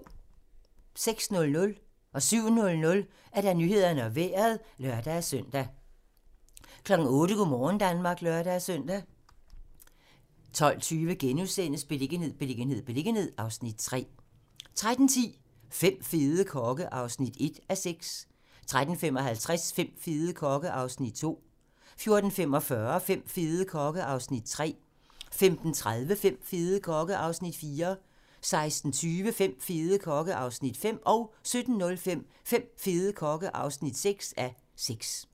06:00: Nyhederne og Vejret (lør-søn) 07:00: Nyhederne og Vejret (lør-søn) 08:00: Go' morgen Danmark (lør-søn) 12:20: Beliggenhed, beliggenhed, beliggenhed (Afs. 3)* 13:10: Fem fede kokke (1:6) 13:55: Fem fede kokke (2:6) 14:45: Fem fede kokke (3:6) 15:30: Fem fede kokke (4:6) 16:20: Fem fede kokke (5:6) 17:05: Fem fede kokke (6:6)